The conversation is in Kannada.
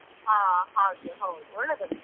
ಹಾ ಹಾಗೆ ಹೌದು ಒಳ್ಳೆದುಂಟು.